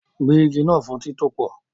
Gbẹ́ igi náà fún títòpò